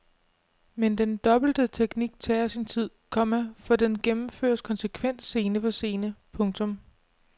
Men den dobbelte teknik tager sin tid, komma for den gennemføres konsekvent scene for scene. punktum